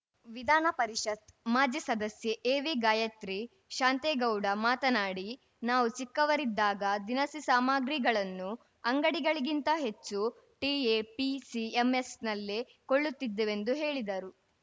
ವಿಧಾನಪರಿಷತ್‌ ಮಾಜಿ ಸದಸ್ಯೆ ಎವಿಗಾಯತ್ರಿ ಶಾಂತೇಗೌಡ ಮಾತನಾಡಿ ನಾವು ಚಿಕ್ಕವರಿದ್ದಾಗ ದಿನಸಿ ಸಾಮಾಗ್ರಿಗಳನ್ನು ಅಂಗಡಿಗಳಿಗಿಂತ ಹೆಚ್ಚು ಟಿಎಪಿಸಿಎಂಎಸ್‌ನಲ್ಲೆ ಕೊಳ್ಳುತ್ತಿದ್ದೆವೆಂದು ಹೇಳಿದರು